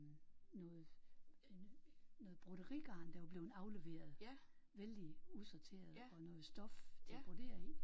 Noget noget broderigarn der var blevet afleveret vældig usorteret og noget stof til at brodere i